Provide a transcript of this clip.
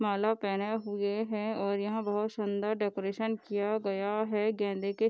माला पहने हुए है और यहाँ बहुत सुन्दर डेकोरेशन किया गया है गेंदे के --